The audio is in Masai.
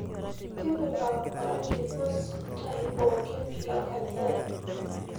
tepika orangi puz ntaai pookin lenkaji ai